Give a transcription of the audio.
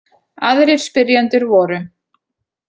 Aðrir spyrjendur voru: